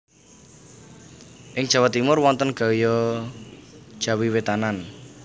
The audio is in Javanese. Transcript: Ing Jawa Timur wonten gaya Jawi Wetanan